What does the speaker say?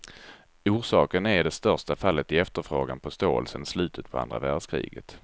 Orsaken är det största fallet i efterfrågan på stål sedan slutet på andra världskriget.